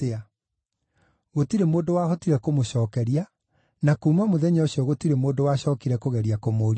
Gũtirĩ mũndũ wahotire kũmũcookeria, na kuuma mũthenya ũcio gũtirĩ mũndũ wacookire kũgeria kũmũũria ciũria ingĩ.